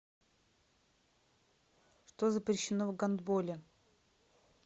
что запрещено в гандболе